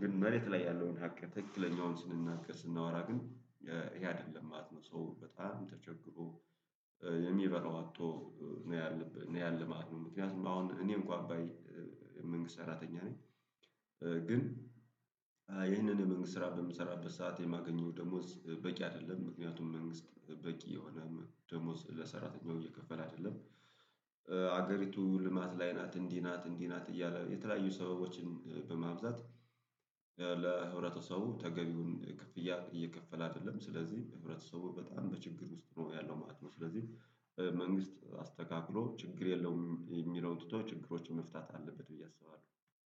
ግን መሬት ላይ ያለውን ሀቅ ትክክለኛውን ስንናገር ስናወራ ግን ይሄ አይደለም ማለት ነው። ሰው በጣም ተቸግሮ የሚበላው አጥቶ ነው ያለም ነው ያለ ማለት ነው። ምክንያቱም አሁን እኔም እንኮአ አባይ የመንግስት ሰራተኛ ነኝ። ግን ይህንን መንግስት ስራ በምሰራበት ሰዓት የማገኘው ደሞዝ በቂ አይደለም። ምክንያቱም መንግስት በቂ የሆነ ደሞዝ ለሰራተኛው እየከፈለ አይደለም። ሀገሪቱ ልማት ላይ ናት እንዲህ ናት እንዲህ ናት እያለ የተለያዩ ሰዎችን በማብዛት ለህብረተሰቡ ተገቢውን ክፍያ እየከፈለ አይደለም። ስለዚህ ህብረተሰቡ በጣም በችግር ውስጥ ነው ያለው ማለት ነው። ስለዚህ መንግስት አስተካክሎ ችግር የለውም የሚለው ትቶ ችግሮችን መፍታት አለበት ብዬ አስባለሁ